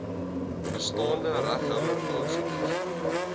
bestaande regtehouer aansoekers